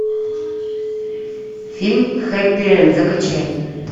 фильм хэппи энд закачай